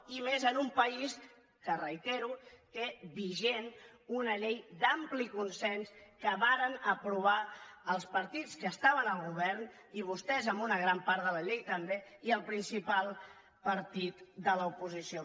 i menys en un país que ho reitero té vigent una llei d’ampli consens que varen aprovar els partits que estaven al govern i vostès en una gran part de la llei també i el principal partit de l’oposició